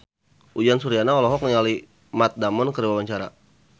Uyan Suryana olohok ningali Matt Damon keur diwawancara